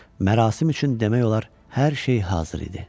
Mərasim üçün demək olar, hər şey hazır idi.